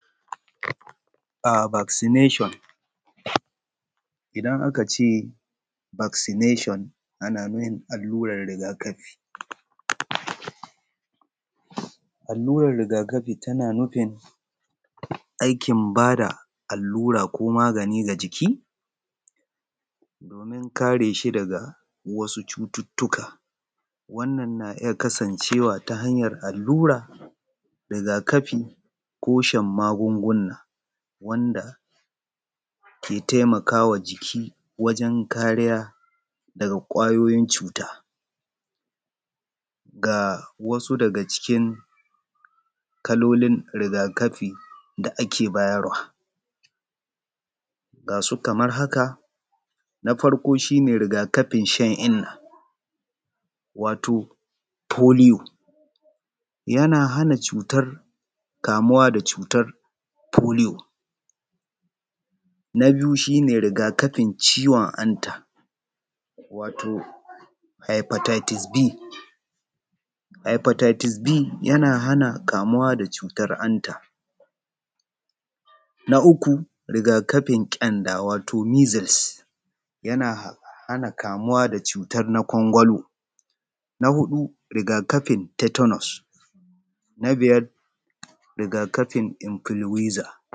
Vaccination, idan aka ce Vaccination ana nufi allurar riga-kafi. Alluran riga-kafi tana nufin aiki ba da allura ko magani ga jiki domin kare shi daga wasu cututtuka. Wannan na iya kasancewa ta hanyar allura ko riga-kafi ko shan magunguna, wanda ke taimakawa jiki wajen. Kariya daga ƙwayoyin cutaga wasu daga cikin kalokin riga-kafi da ake bayarwa na farko shi ne riga kafin shan inna wato polio yana hana kamuwa da cutar polio. Na biyu riga-kafin ciwon hanta, wato hypothesis B ana kamuwa da cutar hanta. Na uku riga-kafi ƙyanda missiles yana hana kamuwa da cutar na kwangolo. Na huɗu riga-kafi tetanus. Biyar riga-kafi encliuezer